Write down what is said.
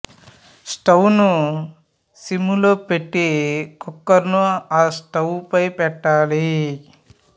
స్టౌను sim లో పెట్టి cooker ను ఆ స్టౌ పై పెట్టాలి